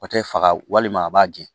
O tɛ faga walima a b'a gɛn